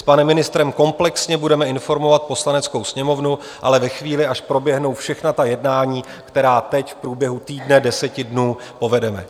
S panem ministrem komplexně budeme informovat Poslaneckou sněmovnu, ale ve chvíli, až proběhnou všechna ta jednání, která teď v průběhu týdne, deseti dnů povedeme.